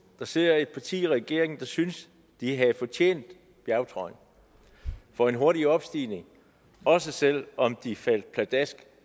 der sidder et parti i regeringen der synes de havde fortjent bjergtrøjen for en hurtig opstigning også selv om de hurtigt faldt pladask